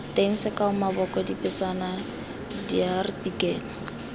teng sekao maboko dipatsana diartikele